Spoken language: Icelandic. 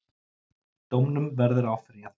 Dómnum verði áfrýjað.